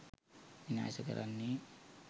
විනාශ කරන්නෙ